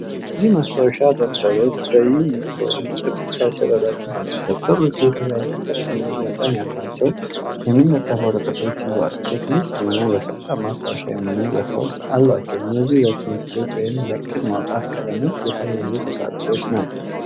እነዚህ ማስታወሻ ደብተሮች በዩኒኮርን ጭብጥ ያሸበረቁ ናቸው። ደብተሮቹ የተለያየ ቅርጽና መጠን ያላቸውን የሚለጠፉ ወረቀቶች ይዘዋል። ቼክ ሊስት እና ለፈጣን ማስታወሻ የሚሆኑ ቦታዎች አሏቸው። እነዚህ ለትምህርት ቤት ወይም ለዕቅድ ማውጣት ቀለሞች የተሞሉ ቁሳቁሶች ናቸው።